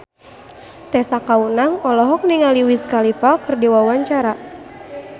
Tessa Kaunang olohok ningali Wiz Khalifa keur diwawancara